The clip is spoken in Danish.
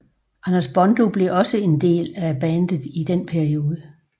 Anders Bondo blev også en del af bandet i den periode